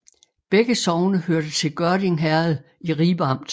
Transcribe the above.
Begge sogne hørte til Gørding Herred i Ribe Amt